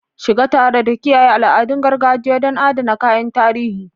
Shiga tare da kiyaye al'adun gargajiya don adana kayan tarihi.